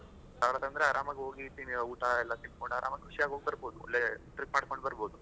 ಹತ್ ಸಾವಿರ ತಂದ್ರೆ ಆರಾಮಾಗಿ ಹೋಗಿ ಊಟ ಎಲ್ಲ ತಿಂದ್ಕೊಂಡು ಆರಾಮಾಗಿ ಖುಷಿಯಾಗಿ, ಹೋಗ್ಬರಬಹುದು, ಒಳ್ಳೆ trip ಮಾಡ್ಕೊಂಡ್ ಬರಬಹುದು.